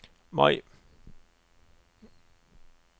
Mai